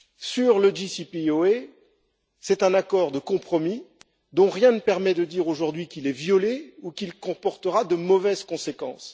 Sur le plan d'action global commun, c'est un accord de compromis dont rien ne permet de dire aujourd'hui qu'il est violé ou qu'il comportera de mauvaises conséquences.